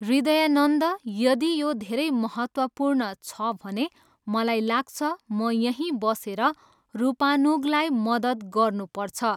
हृदयानन्द, यदि यो धेरै महत्वपूर्ण छ भने मलाई लाग्छ, म यहीँ बसेर रूपानुगलाई मद्दत गर्नुपर्छ।